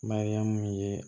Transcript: Mariyamu ye